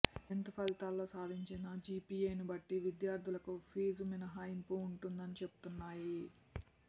tenth ఫలితాల్లో సాధించిన జీపీఏను బట్టి విద్యార్థులకు ఫీజు మినహాయింపు ఉంటుందని చెబుతున్నాయి